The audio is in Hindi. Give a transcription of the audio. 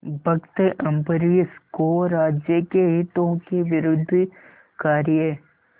भक्त अम्बरीश को राज्य के हितों के विरुद्ध कार्य